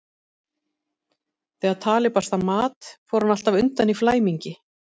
Þegar talið barst að mat fór hann alltaf undan í flæmingi.